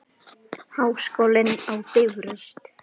Háskólinn á Bifröst.